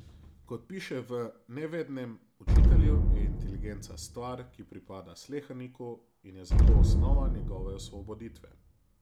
Kot piše v Nevednem učitelju, je inteligenca stvar, ki pripada sleherniku in je zato osnova njegove osvoboditve.